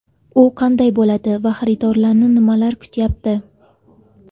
U qanday bo‘ladi va xaridorlarni nimalar kutayapti?